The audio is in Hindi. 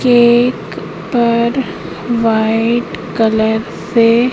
केक पर व्हाइट कलर से--